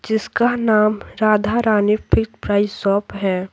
जिसका नाम Radha Rani fix price shop है।